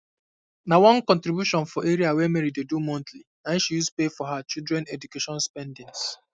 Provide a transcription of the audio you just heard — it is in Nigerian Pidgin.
na one contribution for area wey mary dey do monthly nai she use take pay for um her children education spendings